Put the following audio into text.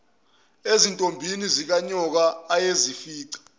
ezintombini zikanyoka ayezifica